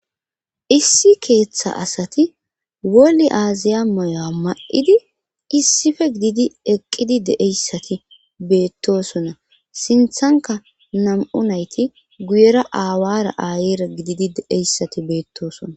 issi keeththa asati woli aaziya mayuwa ma'idi issife gididi eqqidi dee'ssati beettosona sinthanka nam'u nayti guyera aawara aayira gididi dee'issati beettoosona